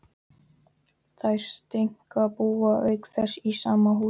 Þær Steinka búa auk þess í sama húsi.